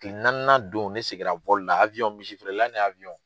Kile naaninan don ne sigira la misifeerela ni